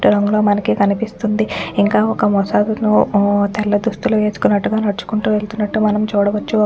రంగులో మనకు కనిపిస్తుంది ఇంక ఒక్క తెల్ల దుస్తులు వేసుకున్నట్లుగా నడుచుకుంటూ వెళ్తున్నటుగా మనం చూడవచ్చు .